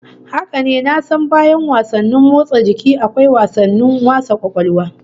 Haka ne, na san bayan wasanni motsa jiki akwa wasannin wasa kwakwalwa